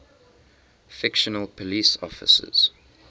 fictional police officers